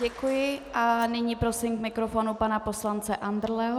Děkuji a nyní prosím k mikrofonu pana poslance Andrleho.